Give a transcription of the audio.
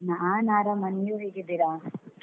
ನಾನ್ ಆರಾಮ, ನೀವ್ ಹೇಗಿದ್ದೀರಾ?